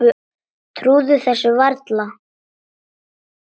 Trúði þessu varla.